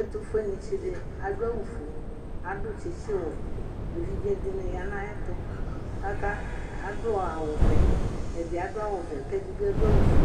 ɛtʋƒʋenitsidi adʋ awʋƒʋe adʋ tsitsiwɛ evidze dini yanʋ ayɛtʋ aka adʋ awʋ vɛ ɛdi adʋ awʋvɛ kɛdi adʋ awʋƒʋe